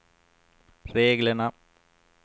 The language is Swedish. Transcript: reglerna